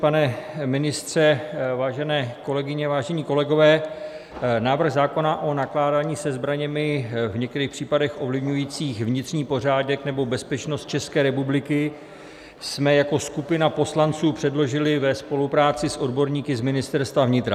Pane ministře, vážené kolegyně, vážení kolegové, návrh zákona o nakládání se zbraněmi v některých případech ovlivňujících vnitřní pořádek nebo bezpečnost České republiky jsme jako skupina poslanců předložili ve spolupráci s odborníky z Ministerstva vnitra.